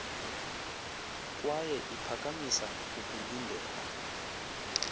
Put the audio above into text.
kwaye iphakamisa ukulindela